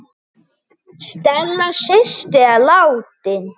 Stella systir er látin.